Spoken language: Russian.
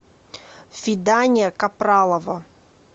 фидания капралова